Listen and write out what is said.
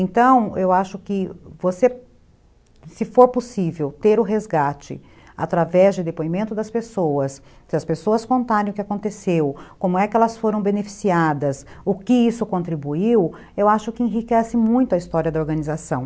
Então, eu acho que, você, se for possível ter o resgate através de depoimento das pessoas, se as pessoas contarem o que aconteceu, como é que elas foram beneficiadas, o que isso contribuiu, eu acho que enriquece muito a história da organização.